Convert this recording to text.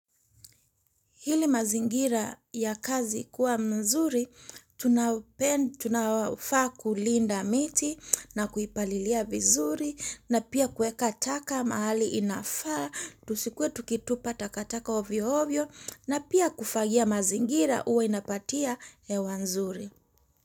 Ili mazingira ya kazi kuwa mzuri, tunafaa kulinda miti na kuipalilia vizuri na pia kuweka taka mahali inafaa, tusikuwe tukitupa takataka ovyo ovyo na pia kufagia mazingira uwe inapatia hewa nzuri.